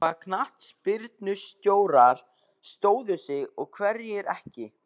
Hvaða knattspyrnustjórar stóðu sig og hverjir ekki?